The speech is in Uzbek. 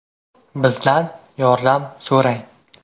Bizdan yordam so‘rang.